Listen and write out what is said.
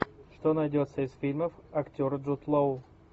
что найдется из фильмов актера джуд лоу